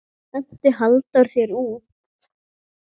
Henti Halldór þér út?